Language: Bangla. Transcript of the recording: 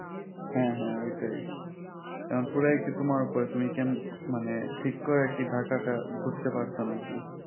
হ্যাঁ হ্যাঁ ওইটাই এখন পুরাই কি তোমার ওপর তুমি কেম মানে ঠিক করে কি ঢাকাটা ঘুরতে পারছো নাকি